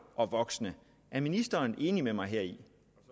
og voksne er ministeren enig med mig heri